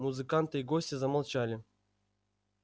музыканты и гости замолчали